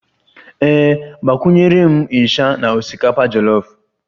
Ee, agbakwunyere m isha na osikapa jolof